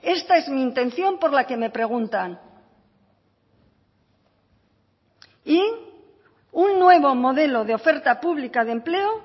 esta es mi intención por la que me preguntan y un nuevo modelo de oferta pública de empleo